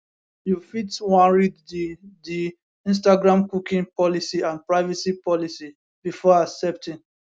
you fit wan read di di instagramcookie policyandprivacy policybefore accepting